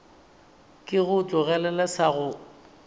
ke go tlogelele sa go